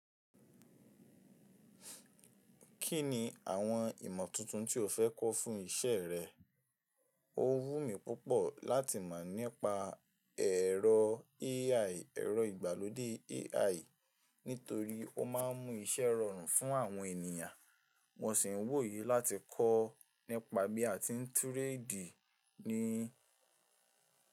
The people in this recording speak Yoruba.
Kí ni àwọn ìmọ̀ tuntun tí o fẹ́ kọ́ fún ìṣe rẹ? Ó wùn mí púpọ̀ láti mọ̀ nípa ẹ̀rọ AI, ẹ̀rọ ìgbàlódé AI nítorí ó máà ń mú iṣẹ́ rọrùn fún àwọn ènìyàn. Mo sì ń wò yí láti kọ́ nípa bí a ti ń ta oja ní.